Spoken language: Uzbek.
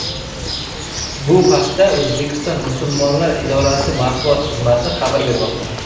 Bu haqda O‘zbekiston musulmonlar idorasi matbuot xizmati xabar bermoqda .